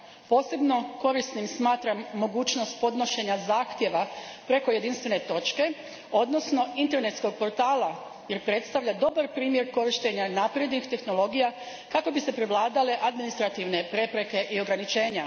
Posebno korisnim smatram mogućnost podnošenja zahtjeva preko jedinstvene točke, odnosno internetskog portala, jer predstavlja dobar primjer korištenja naprednih tehnologija kako bi se prevladale administrativne prepreke i ograničenja.